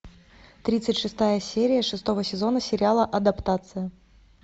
тридцать шестая серия шестого сезона сериала адаптация